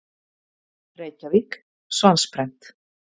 Reykjavík: Svansprent.